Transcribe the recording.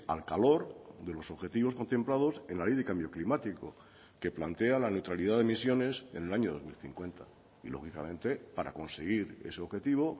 al calor de los objetivos contemplados en la ley de cambio climático que plantea la neutralidad de emisiones en el año dos mil cincuenta y lógicamente para conseguir ese objetivo